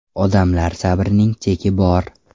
Odamlar sabrining cheki bor.